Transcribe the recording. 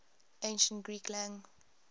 ancient greek lang